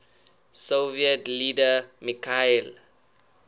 soviet leader mikhail